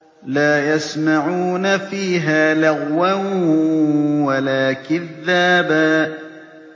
لَّا يَسْمَعُونَ فِيهَا لَغْوًا وَلَا كِذَّابًا